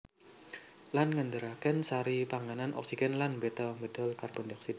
Lan ngèdarakén sari panganan oksigèn lan mbéta médal karbon dioksida